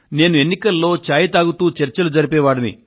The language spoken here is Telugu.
నేను ఎన్నికలప్పుడు చాయ్ తాగుతూ చర్చలు జరిపే వాడిని